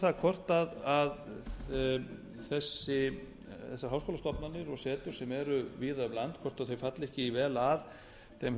það hvort þessar háskólastofnanir og setur sem eru víða um land hvort þær falli ekki vel að þeim